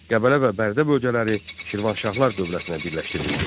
Qəbələ və Bərdə bölgələri Şirvanşahlar dövlətinə birləşdirildi.